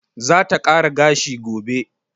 Za ta kara gashi gobe.